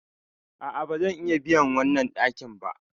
A'a, ba zan iya biyan wannan ɗakin ba.